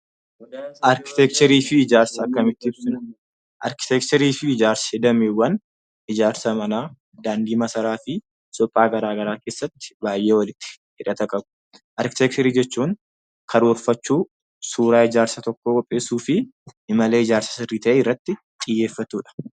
Arkiteekcharii fi ijaarsa akkamitti ibsina? Arkiteekcharii fi ijaarsa dameewwan ijaarsa manaa, daandii masaraafi suphaa garaa garaa keessatti baay'ee walitti hidhata qabu. Arkiteekcharii jechuun karoorfachuu, suuraa ijaarsa tokkoo qopheessuufi imala ijaarsa sirrii ta'e irratti xiyyeeffatudha.